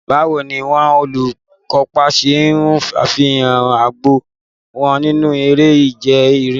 Báwo ni àwọn olùkópa ṣe ṣe àfihàn ọgbọ́n wọn nínú eré ìje rìléè?